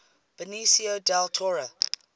benicio del toro